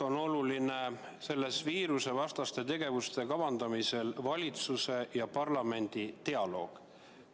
Ma arvan, et viirusevastaste tegevuste kavandamisel on valitsuse ja parlamendi dialoog väga oluline.